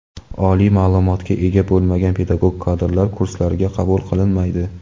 Oliy ma’lumotga ega bo‘lmagan pedagog kadrlar kurslarga qabul qilinmaydi.